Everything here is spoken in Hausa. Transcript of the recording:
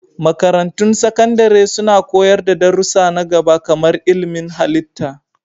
Makarantun Sakandare suna koyar da darussa na gaba kamar ilmin halitta.